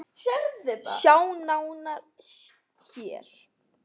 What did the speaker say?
Sjá nánar HÉR!